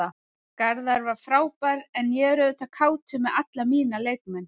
Garðar var frábær en ég er auðvitað kátur með alla mína leikmenn.